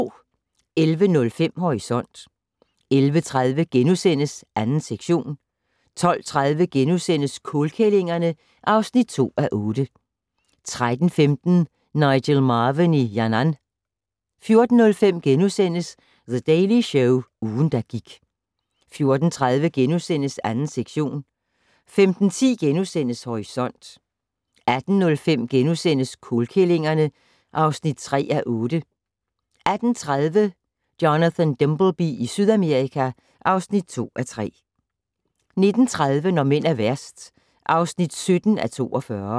11:05: Horisont 11:30: 2. sektion * 12:30: Kålkællingerne (2:8)* 13:15: Nigel Marven i Yannan 14:05: The Daily Show - ugen, der gik * 14:30: 2. sektion * 15:10: Horisont * 18:05: Kålkællingerne (3:8)* 18:30: Jonathan Dimbleby i Sydamerika (2:3) 19:30: Når mænd er værst (17:42)